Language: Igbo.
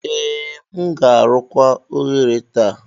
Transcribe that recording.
Ee, m ga-arụkwa oghere taa.